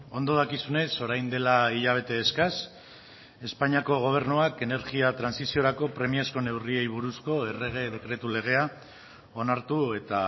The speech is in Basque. ondo dakizunez orain dela hilabete eskas espainiako gobernuak energia trantsiziorako premiazko neurriei buruzko errege dekretu legea onartu eta